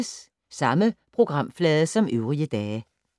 Samme programflade som øvrige dage